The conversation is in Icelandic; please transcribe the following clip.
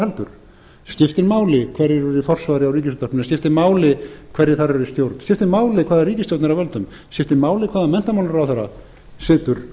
heldur skiptir máli hverjir eru í forsvari að ríkisútvarpinu skiptir máli hverjir þar eru í stjórn skiptir máli hvaða ríkisstjórn er að völdum skiptir máli hvaða menntamálaráðherra situr